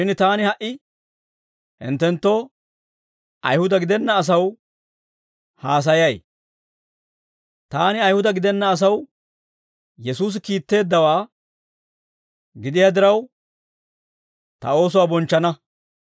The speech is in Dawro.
Shin taani ha"i hinttenttoo, Ayihuda gidenna asaw haasayay; taani Ayihuda gidenna asaw Yesuusi kiitteeddawaa gidiyaa diraw, ta oosuwaa bonchchana.